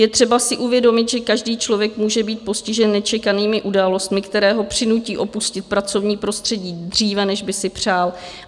Je třeba si uvědomit, že každý člověk může být postižen nečekanými událostmi, které ho přinutí opustit pracovní prostředí dříve, než by si přál.